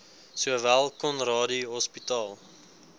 sowel conradie hospitaal